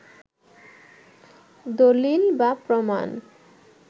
দলিল বা প্রমাণ